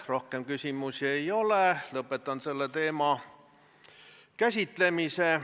Rohkem küsimusi ei ole, lõpetan selle teema käsitlemise.